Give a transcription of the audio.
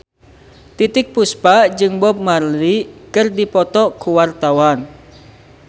Titiek Puspa jeung Bob Marley keur dipoto ku wartawan